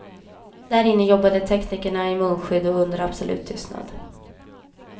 Där inne jobbade teknikerna i munskydd och under absolut tystnad.